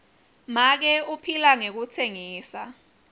make uphila ngekutsengisa